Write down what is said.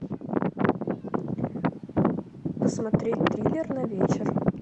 посмотреть триллер на вечер